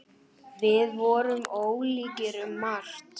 Við vorum ólíkir um margt.